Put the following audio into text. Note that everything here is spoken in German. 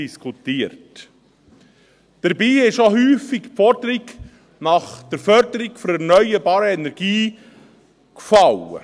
Dabei fiel auch häufig die Forderung nach der Förderung der erneuerbaren Energien.